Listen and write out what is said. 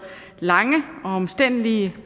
lange og omstændelige